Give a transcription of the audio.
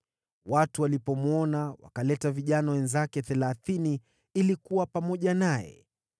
Watu walipomwona, wakaleta vijana wenzake thelathini ili kuwa pamoja naye.